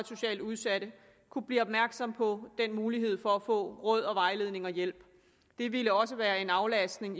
socialt udsatte kunne blive opmærksomme på den mulighed for at få råd vejledning og hjælp det ville også være en aflastning